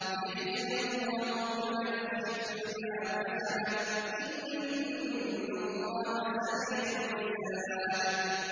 لِيَجْزِيَ اللَّهُ كُلَّ نَفْسٍ مَّا كَسَبَتْ ۚ إِنَّ اللَّهَ سَرِيعُ الْحِسَابِ